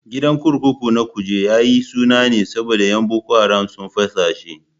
Gidan kurkuku na Kuje yayi suna ne saboda yan boko haram sun fasa shi